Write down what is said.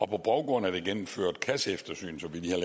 på baggrund af det gennemførte kasseeftersyn som lige er